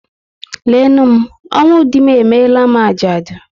Lee nụ m, ọnwụ dị m emere m ajadu